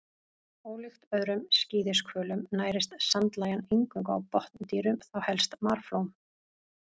Ólíkt öðrum skíðishvölum nærist sandlægjan eingöngu á botndýrum, þá helst marflóm.